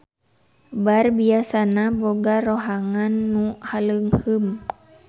Bar biasana boga rohangan nu haleungheum.